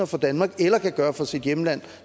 for danmark eller kan gøre for sit hjemland